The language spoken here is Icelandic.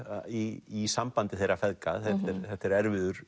í sambandi þeirra feðga þetta er erfiður